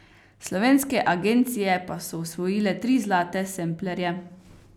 Slovenske agencije pa so osvojile tri zlate semplerje.